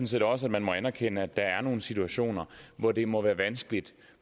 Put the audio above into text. set også må anerkende at der er nogle situationer hvor det må være vanskeligt